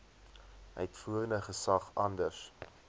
uitvoerende gesag anders